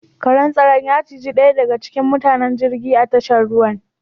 Karen tsaron ya ciji ɗaya daga cikin matukan jirgin a tashar ruwan.